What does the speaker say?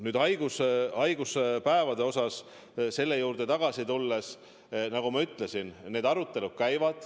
Kui haigushaiguspäevade juurde tagasi tulla, siis nagu ma ütlesin, need arutelud käivad.